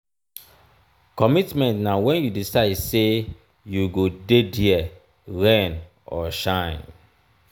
commitment na wen you decide sey you go dey there rain or shine.